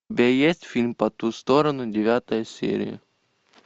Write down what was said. у тебя есть фильм по ту сторону девятая серия